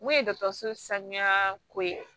Mun ye dɔgɔtɔrɔso sanuya ko ye